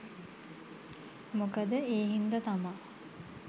මොකද ඒ හින්දා තමා